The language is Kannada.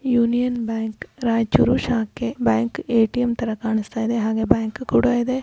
ಯೂನಿಯನ್ ಬ್ಯಾಂಕ್ ರಾಯಚೂರ್ ಶಾಖೆ. ಬ್ಯಾಂಕ್ ಎ ಟಿ ಎಮ್ ತರ ಕಾಣಿಸ್ತಾ ಇದೆ ಹಾಗೆ ಬ್ಯಾಂಕ್ ಕೂಡಾ ಇದೆ.